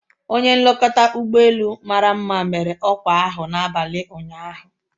Onye nlekọta ụgbọ elu mara mma mere ọkwa ahụ n'abalị ụnyaahụ